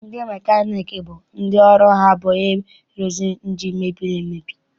Ndị mekaniiki bụ ndị ọrụ ha bụ ịrụkwa ịnjini mebiri emebi.